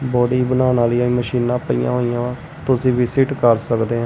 Body ਬਣਾਉਣ ਵਾਲੀ ਮਸ਼ੀਨਾਂ ਪਈਆਂ ਹੋਈਆਂ ਤੁਸੀਂ ਵੀ ਵਿਜਿਟ ਕਰ ਸਕਦੇ ਹੋ।